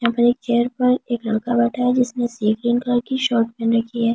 यहाँ पर एक चेयर पर एक लड़का बैठा हुआ है जिसने सी ग्रीन कलर की शर्ट पहन रखी है यहाँ।